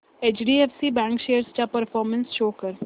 HDFC bank shares चा performance show कर